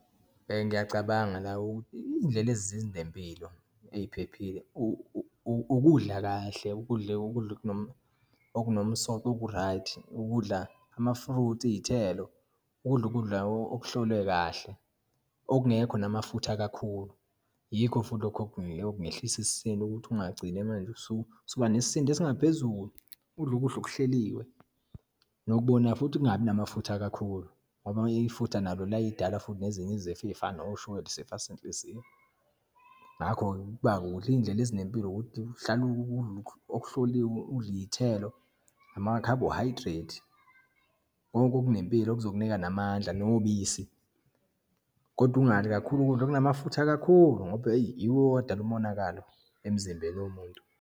Ngiyacabanga la iyindlela ezinempilo, eyiphephile, ukudla kahle, udle ukudla okunomsoco, oku-right. Ukudla ama-fruit, iyithelo, ukudla ukudla okuhlolwe kahle, okungekho namafutha kakhulu. Yikho futhi lokho okungehlisa isisindo ukuthi ungagcine manje, usuba nesindo esingaphezulu. Udle ukudla okuhleliwe nokubonayo futhi kungabi namafutha kakhulu ngoba ifutha nalo liyayidala futhi nezinye izifo, eyifana noshukela, isifo senhliziyo. Ngakho-ke ukuba udla iyindlela ezinempilo, ukuthi uhlale udle okuhloliwe, udle iyithelo, ama-carbohydrate, konke okunempilo kuzokunika namandla, nobisi. Kodwa ungadli kakhulu ukudla okunamafutha kakhulu ngoba eyi, iwo adala umonakalo emzimbeni womuntu.